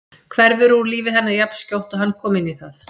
Hverfur úr lífi hennar jafnskjótt og hann kom inn í það.